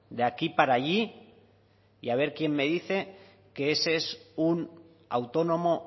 de aquí para allí y a ver quién me dice que ese es un autónomo